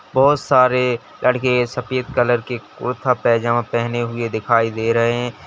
बहुत सारे लड़के सफेद कलर के कुर्ता पजामा पहने हुए दिखाई दे रहे हैं।